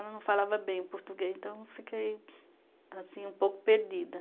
Ela não falava bem o português, então fiquei um pouco perdida.